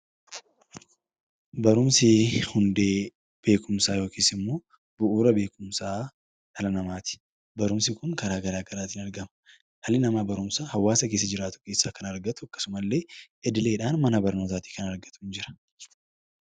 Barumsi hundee beekumsaa yookiin immoo bu'uura beekumsa dhala namaati. Barumsi karaa garaagaraatiin argama. Dhalli namaa barumsa hawaasa keessa jiraatu keessaa kan argatu akkasumallee idileedhaan mana barumsaatii kan argatudha.